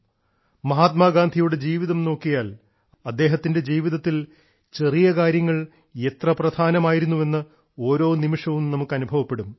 മഹാത്മാ ഗാന്ധിയുടെ ജീവിതം നോക്കിയാൽ അദ്ദേഹത്തിന്റെ ജീവിതത്തിൽ ചെറിയ കാര്യങ്ങൾ എത്ര പ്രധാനമായിരുന്നുവെന്ന് ഓരോ നിമിഷവും നമുക്ക് അനുഭവപ്പെടും